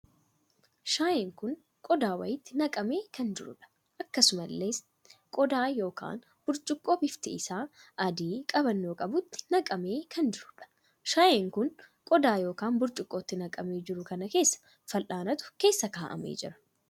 Shaayeen kun qodaa wayiitti naqamee kan jiruudha. akkasumallee qodaa ykn burcuqqoo bifti isaa adii qabannoo qabutti naqamee kan jiruudha. shaayeen kun qodaa ykn burcuqqootti naqamee jiru kan keessa fal'aanatu keessa kaa'amee jira.